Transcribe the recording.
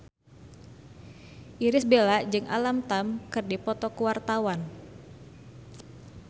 Irish Bella jeung Alam Tam keur dipoto ku wartawan